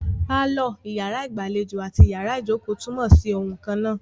Pálọ̀, iyàrá ìgbàlejò àti iyàrá ìjókò túnmọ̀ sí oun kannáà.